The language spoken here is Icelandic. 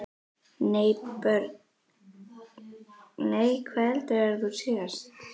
Nei Börn: Nei Hvað eldaðir þú síðast?